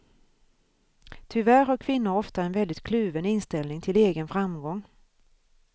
Tyvärr har kvinnor ofta en väldigt kluven inställning till egen framgång.